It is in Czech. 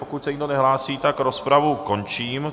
Pokud se nikdo nehlásí, tak rozpravu končím.